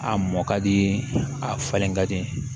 A mɔ ka di a falen ka di